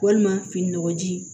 Walima fini nɔgɔji